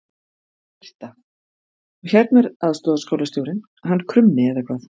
Birta: Og hérna er aðstoðarskólastjórinn hann Krummi eða hvað?